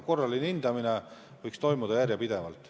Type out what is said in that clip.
Korraline hindamine võiks toimuda järjepidevalt.